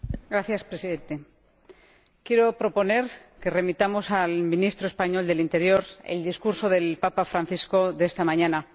Señor Presidente, quiero proponer que remitamos al ministro español del Interior el discurso del Papa Francisco de esta mañana.